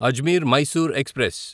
Ajmer Mysore express